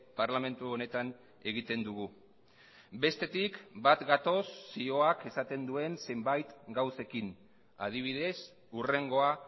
parlamentu honetan egiten dugu bestetik bat gatoz zioak esaten duen zenbait gauzekin adibidez hurrengoa